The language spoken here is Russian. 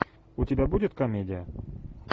у тебя будет комедия